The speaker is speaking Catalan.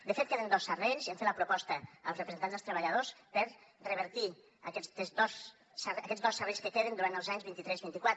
de fet en queden dos serrells i hem fet la proposta als representants dels treballadors per revertir aquests dos serrells que queden durant els anys vint tres i vint quatre